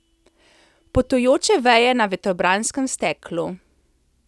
Potujoče veje na vetrobranskem steklu.